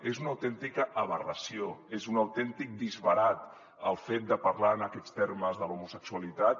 és una autèntica aberració és un autèntic disbarat el fet de parlar en aquests termes de l’homosexualitat